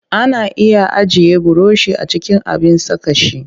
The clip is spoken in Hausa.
Ana iya ajiye burushi a cikin abin saka shi